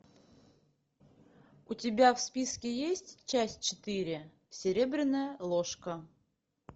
у тебя в списке есть часть четыре серебряная ложка